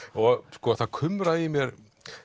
sko það kumraði mér